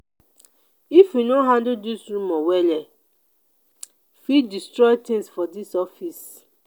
if you no handle dis rumor well e fit destroy tins for dis office.